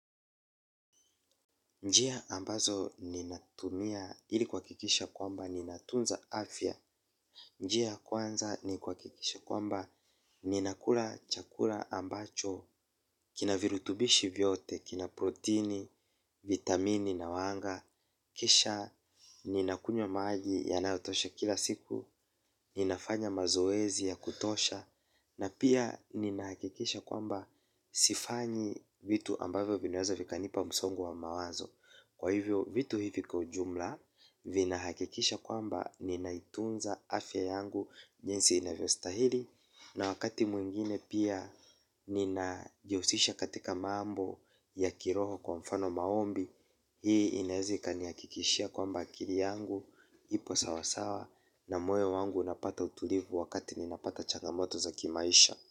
Njia ambazo ninatumia ili kuhakikisha kwamba ninatunza afya. Njia ya kwanza ni kuhakikisha kwamba ninakula chakula ambacho kina virutubishi vyote, kina protini, vitamini na wanga. Kisha ninakunywa maji yanayotosha kila siku. Ninafanya mazoezi ya kutosha. Na pia ninahakikisha kwamba sifanyi vitu ambavyo vinaweza vikanipa msongo wa mawazo. Kwa hivyo vitu hivi kwa ujumla vina hakikisha kwamba ninaitunza afya yangu jinsi inavyo stahili na wakati mwingine pia nina jiusisha katika mambo ya kiroho kwa mfano maombi. Hii inaeza ika nihakikishia kwamba akili yangu ipo sawasawa na moyo wangu unapata utulivu wakati ninapata changamoto za kimaisha.